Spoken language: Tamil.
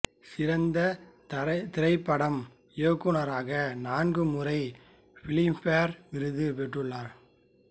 சிறந்த திரைப்பட இயக்குநராக நான்கு முறை பிலிம்பேர் விருது பெற்றுள்ளார்